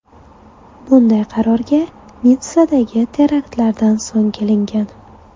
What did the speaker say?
Bunday qarorga Nitssadagi teraktlardan so‘ng kelingan.